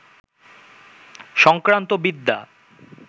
সংক্রান্ত বিদ্যা